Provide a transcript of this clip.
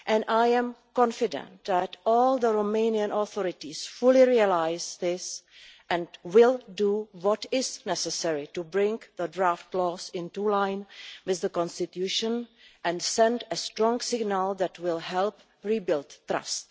I am confident that all the Romanian authorities fully realise this and will do what is necessary to bring the draft laws into line with the constitution and send a strong signal that will help rebuild trust.